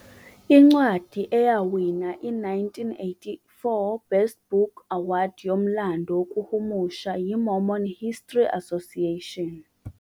Incwadi yawina i-1984 Best Book Award yomlando wokuhumusha yi- Mormon History Association.